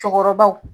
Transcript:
Cɔkɔrɔbaw